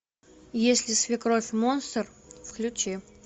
если свекровь монстр включи